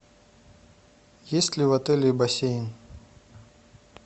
есть ли в отеле бассейн